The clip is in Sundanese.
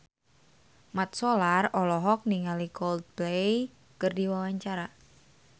Mat Solar olohok ningali Coldplay keur diwawancara